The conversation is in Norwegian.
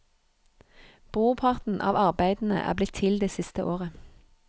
Brorparten av arbeidene er blitt til det siste året.